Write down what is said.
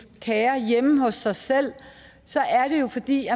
kære hjemme hos sig selv så er det jo fordi